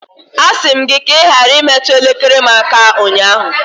A sị m gị ka ị ghara imetụ elekere aka m aka ụnyahụ.